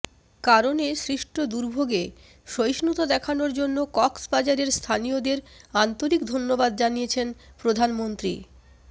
কারণে সৃষ্ট দুর্ভোগে সহিষ্ণুতা দেখানোর জন্য কক্সবাজারের স্থানীয়দের আন্তরিক ধন্যবাদ জানিয়েছেন প্রধানমন্ত্রী